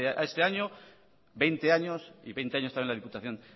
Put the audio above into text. este año veinte años y veinte años también la diputación